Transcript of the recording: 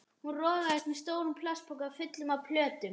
Hún rogaðist með stóran plastpoka fullan af plötum.